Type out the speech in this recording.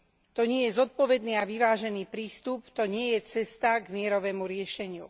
To nie je zodpovedný a vyvážený prístup, to nie je cesta k mierovému riešeniu.